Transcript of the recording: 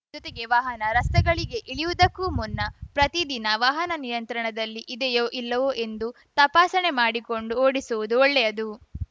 ಜೊತೆಗೆ ವಾಹನ ರಸ್ತೆಗಳಿಗೆ ಇಳಿಸುವುದಕ್ಕೂ ಮುನ್ನ ಪ್ರತಿ ದಿನ ವಾಹನ ನಿಯಂತ್ರಣದಲ್ಲಿ ಇದೆಯೋ ಇಲ್ಲವೋ ಎಂದು ತಪಾಸಣೆ ಮಾಡಿಕೊಂಡು ಓಡಿಸುವುದು ಒಳ್ಳೆಯದು